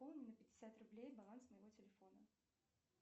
пополни на пятьдесят рублей баланс моего телефона